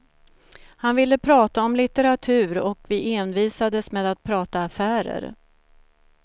Han ville prata om litteratur, och vi envisades med att prata affärer.